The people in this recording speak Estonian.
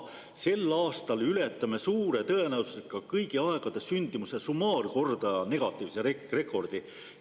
Sel aastal aga ületame suure tõenäosusega kõigi aegade sündimuse summaarkordaja negatiivse rekordi.